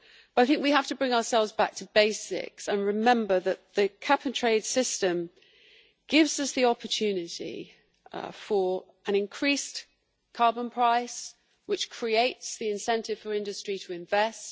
So we have to bring ourselves back to basics and remember that the cap and trade system gives us the opportunity for an increased carbon price, which creates the incentive for industry to invest.